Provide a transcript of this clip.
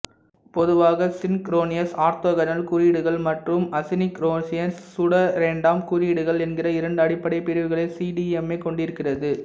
பொதுவாக synchronous orthogonal குறியீடுகள் மற்றும் அசின்க்ரோனியஸ் சூடோரேண்டம் குறியீடுகள் என்கிற இரண்டு அடிப்படை பிரிவுகளை சிடிஎம்ஏ கொண்டிருக்கிறது